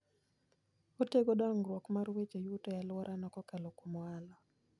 Otego dongruok mar weche yuto e alworano kokalo kuom ohala.